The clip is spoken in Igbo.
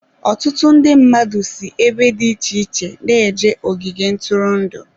Ọtụtụ ndị mmadụ si ebe dị iche iche na-eje ogige ntụrụndụ.